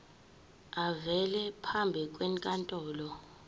avele phambi kwenkantolo